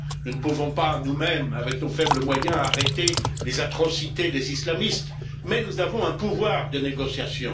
Nous ne pouvons pas, nous mêmes, avec nos faibles moyens, arrêter les atrocités des islamistes, mais nous avons un pouvoir de négociation.